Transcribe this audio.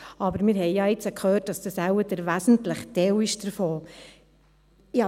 Jetzt haben wir aber gehört, dass dies wohl der wesentliche Teil davon ist.